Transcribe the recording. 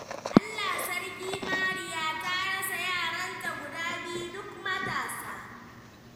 Allah sarki Mariya. Ta rasa yaranta guda biyu duk matasa.